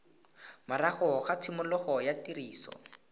morago ga tshimologo ya tiriso